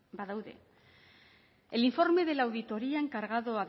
badaude el informe de la auditoría encargado